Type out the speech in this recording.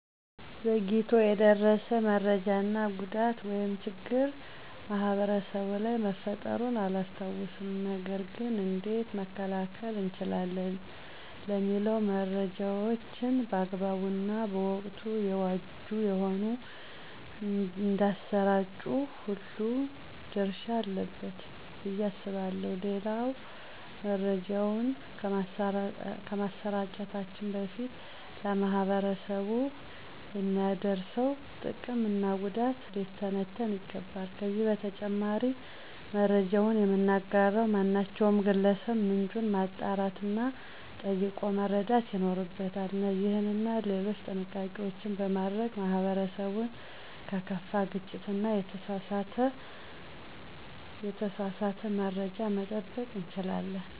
ዘግይቶ የደረሰ መሰጃ እና ጉዳት ወይም ችግር ማህበረሰቡ ላይ መፈጠሩን አላስታውስም። ነገር ገን እንዴት መከላከል እንችላለን? ለሚለው መረጃዎችን በአግባቡ እና ወቅቱን የዋጁ ሆነው እንዳሰራጩ ሁሉም ድረሻ አለበት ብዬ አስባለሁ። ሌላው መረጃውን ከማሰራጨታችን በፊት ለማህበረሰቡ የሚያደርሰው ጥቅም እና ጉዳት ሊተነተን ይገባል። ከዚህ በተጨማሪም መረጃውን የምናጋራ ማናቸውም ግለሰብ ምንጩን ማጣራት እና ጠይቆ መረዳት ይኖርብናል። እነዚህንና ሌሎችም ጥንቃቄዎች በማድረግ ማህበረሰቡን ከከፋ ግጭት እና የተሳሳተ መረጃ መጠበቅ እንችላለን።